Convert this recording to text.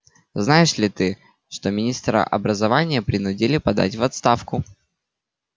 знаешь ли ты что министра образования принудили подать в отставку